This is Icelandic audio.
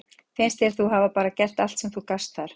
Finnst þér þú hafa bara gert allt sem þú gast þar?